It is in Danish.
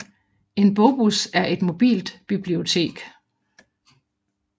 En bogbus er et mobilt bibliotek